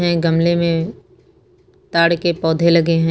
ये गमले में ताड़ के पौधे लगे हैं।